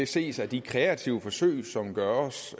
ses af de kreative forsøg som gøres